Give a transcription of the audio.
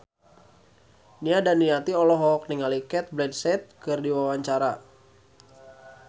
Nia Daniati olohok ningali Cate Blanchett keur diwawancara